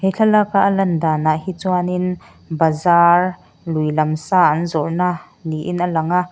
thlalaka a lan danah hi chuanin bazar lui lam sa an zawrhna niin a lang a.